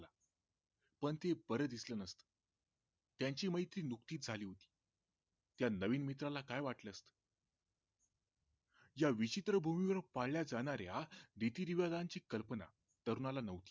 पण ते बर दिसलं नसते त्यांची मैत्री नुकतीच झाली होती त्या नवीन मित्राला काय वाटत असेल या विचित्र भूमीवर पाळल्या जाणाऱ्या रीती रिवाजांची कल्पना तरुणाला नव्हती